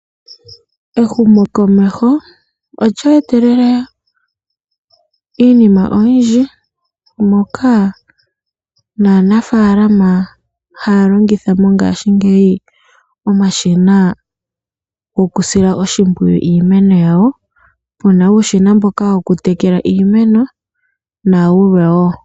Ehumokomeho olye etelele iinima oyindji moka naanafaalama haya longitha mongaashingeyi omashina goku sila oshimpwiyu iimeno yawo . Muna uushina mboka woku tekela iimeno nayilwe woo.